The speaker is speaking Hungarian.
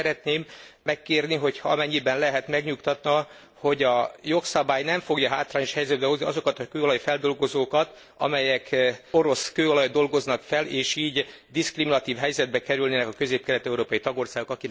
Ezért szeretném megkérni, hogy amennyiben lehet, megnyugtathat, hogy a jogszabály nem fogja hátrányos helyzetbe hozni azokat a kőolaj feldolgozókat, amelyek orosz kőolajat dolgoznak fel, és így diszkriminatív helyzetbe kerülnének a közép kelet európai tagországok.